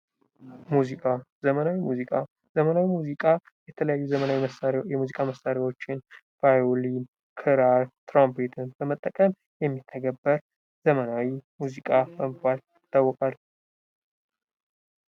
ሙዚቃ፦ ዘመናዊ መዚቃ፦ ዘመናዊ መዚቃ የተለያዪ ዘመናዊ መዚቃ መሳሪያዎችን ለምሳሌ ቫዮሊን፣ ክራር፣ ትራምፔትን በመጠቀም የሚተገበር ዘመናዊ ሙዚቃ በመባል ይታወቃል።